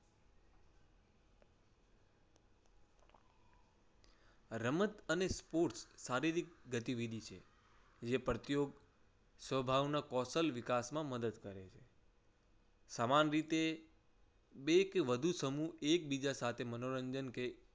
રમત અને sports શારીરિક ગતિવિધિ છે. જે પ્રતિયો સ્વભાવમાં કૌશલ વિકાસ માં મદદ કરે છે. સમાન રીતે બે કે વધુ સમૂહ એકબીજા સાથે મનોરંજન કે